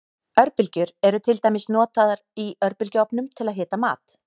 Örbylgjur eru til dæmis notaður í örbylgjuofnum til að hita mat.